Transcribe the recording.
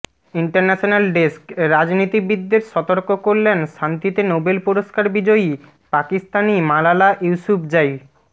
international desk রাজনীতিবিদদের সতর্ক করলেন শান্তিতে নোবেল পুরস্কার বিজয়ী পাকিস্তানি মালালা ইউসুফজাই